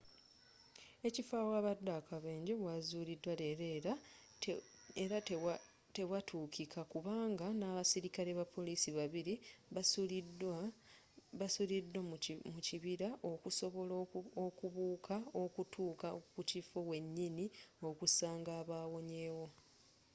ekifo awabadde akabenje waazuliddwa leero era tewatuukika kubanga n'abaserikale ba police babiri basuliddwa mu kibira okusobola okubuuka okutuuka ku kifo wenyini okusanga abawonyewo